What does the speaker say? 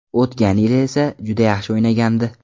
O‘tgan yil esa juda yaxshi o‘ynagandi.